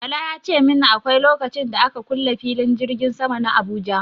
Bala ya ce min akwai lokacin da aka kule filin jirgin sama na Abuja.